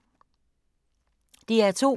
DR2